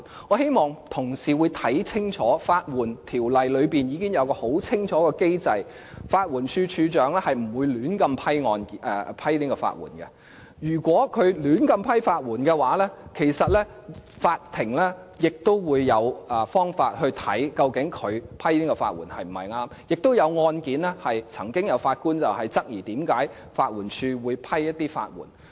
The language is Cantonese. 我希望同事看清楚，《法律援助條例》已經有很清楚的機制，法援署署長是不會胡亂批出法援的，如果他胡亂批出法援，其實法庭也會有方法審視他批出法援是否正確；之前曾經就一些案件，法官質疑法援署為何會批出法援。